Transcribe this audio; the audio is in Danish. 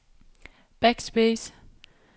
backspace